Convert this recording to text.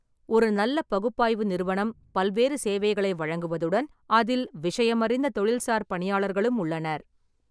ஒரு நல்ல பகுப்பாய்வு நிறுவனம் பல்வேறு சேவைகளை வழங்குவதுடன் அதில் விஷயமறிந்த தொழில்சார் பணியாளர்களும் உள்ளனர்.